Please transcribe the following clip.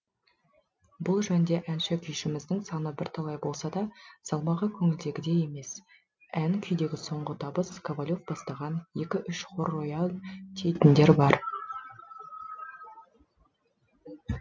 бұл жөнде әнші күйшіміздің саны бірталай болса да салмағы көңілдегідей емес ән күйдегі соңғы табыс ковалев бастаған екі үш хор рояль дейтіндер бар